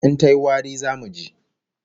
In tayi wari, zamu ji